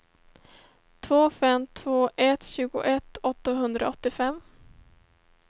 två fem två ett tjugoett åttahundraåttiofem